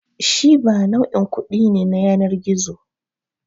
Shiba nau'in kuɗi ne na yanar gizo.